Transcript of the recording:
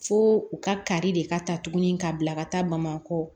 Fo u ka ka kari de ka ta tugun ka bila ka taa bamakɔ